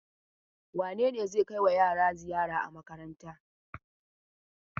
Wane ne zai kaiwa yara ziyara a makaranta.